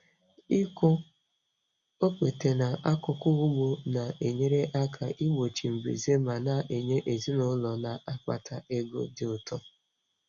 Ịkụ okpete n'akụkụ ugbo na-enyere aka igbochi mbuze ma na-enye ezinụlọ na-akpata ego dị ụtọ.